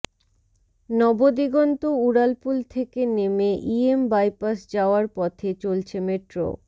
নবদিগন্ত উড়ালপুল থেকে নেমে ই এম বাইপাস যাওয়ার পথে চলছে মেট্রো